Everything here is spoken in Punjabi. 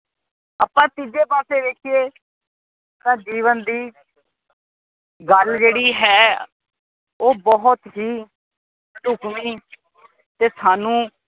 ਆਪ ਤੀਜੇ ਪਾਸੇ ਵੇਖੀਏ ਤਾਂ ਜੀਵਨ ਦੀ ਗੱਲ ਜਿਹੜੀ ਹੈ ਉਹ ਬਹੁਤ ਹੀ ਟੁਕਵੀ ਤੇ ਸਾਨੂੰ